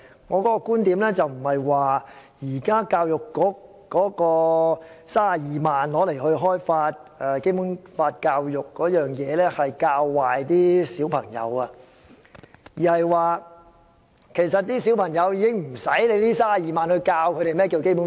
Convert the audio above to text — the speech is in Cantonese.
我的意思並非教育局現時花32萬元開發《基本法》教育的資源會教壞小朋友，而是根本無需花這32萬元教導小朋友何謂《基本法》。